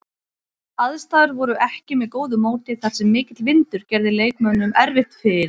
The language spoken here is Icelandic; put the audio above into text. Aðstæður voru ekki með góðu móti þar sem mikill vindur gerði leikmönnum erfitt fyrir.